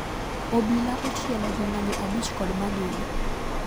Obila ochielo jong'anyo abich kod magina